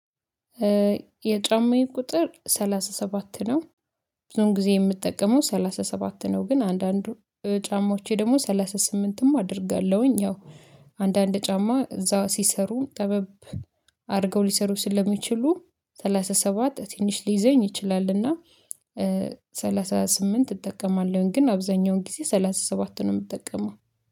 የጫማዬ ቁጥር ሰላሳ ሰባት ነው። ብዙም ጊዜ የምጠቀመው ሰላሳ ሰባት ነው። ግን አንዳንዱ ጫማዎቼ ደግሞ ሰላሳ ስምንትም አደርጋለሁኝ። ያው አንዳንድ ጫማ እዛ ሲሰሩ ጠበብ። አድርገው ሊሰሩ ስለሚችሉ ሰላሳ ሰባት ትንሽ ሊይዘኝ ይችላልና። ሰላሳ ስምንት እጠቀማለሁኝ ግን አብዛኛውን ጊዜ ሰላሳ ሰባትቱን ነው የምጠቀመው